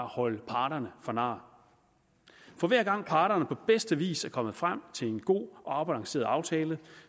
holde parterne for nar for hver gang parterne på bedste vis er kommet frem til en god og afbalanceret aftale